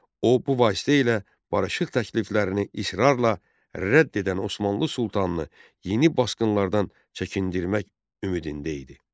O bu vasitə ilə barışıq təkliflərini israrla rədd edən Osmanlı sultanını yeni basqınlardan çəkindirmək ümidində idi.